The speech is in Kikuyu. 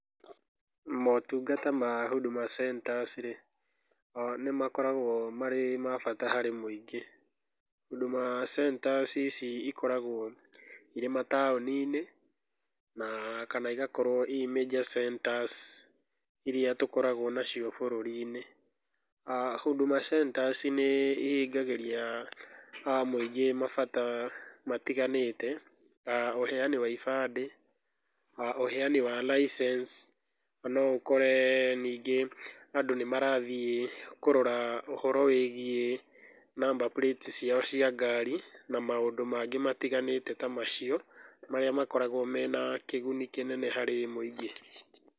Motungata ma Huduma Centers rĩĩ nĩmakoragwo marĩ ma bata harĩ mũingĩ. Huduma Centers ici ikoragwo irĩ mataũni-inĩ, na kana igakorwo ii major centers iria tũkoragwo nacio taũni-inĩ. Huduma Centers nĩ ihingagĩria a mũingĩ mabata matiganĩte, a ũheani wa ibandĩ, a uheani wa licence, no ũkore ningĩ andũ nĩ marathiĩ kũrora ũhoro wĩgiĩ number plates ciao cia ngari na maũndũ mangĩ matiganĩte ta macio marĩa makoragwo mena kĩguni kĩnene harĩ mũingĩ.